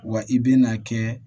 Wa i bɛna kɛ